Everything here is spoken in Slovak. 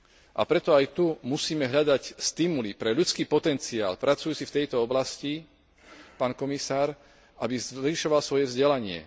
A preto aj tu musíme hľadať stimuly pre ľudský potenciál pracujúci v tejto oblasti, pán komisár, aby zvyšoval svoje vzdelanie.